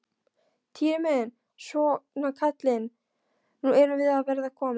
Týri minn, svona kallinn, nú erum við að verða komin.